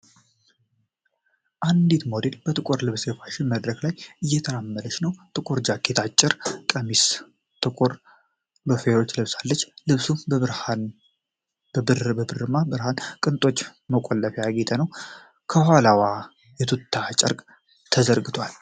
አንዲት ሞዴል በጥቁር ልብስ በፋሽን መድረክ ላይ እየተራመደች ነው። ጥቁር ጃኬት፣ አጭር ቀሚስና ጥቁር ሎፈሮች ለብሳለች። ልብሱ በብርማ የብረት ቅጦች እና መቆለፊያዎች ያጌጠ ነው። ከኋላዋ የቱልል ጨርቅ ተዘርግቷል።